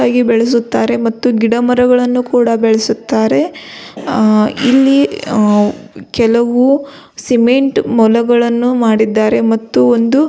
ಆಗಿ ಬೆಳೆಸುತ್ತಾರೆ ಮತ್ತು ಗಿಡ ಮರಗಳನ್ನುಕೂಡ ಬೆಳೆಸುತ್ತಾರೆ ಆ ಇಲ್ಲಿ ವೊ ಕೆಲವು ಸಿಮೆಂಟ್ ಮೊಲಗಳನ್ನು ಮಾಡಿದ್ದಾರೆ ಮತ್ತು ಒಂದು --